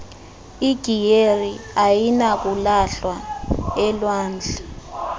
igiyeri ayinakulahlwa elwandle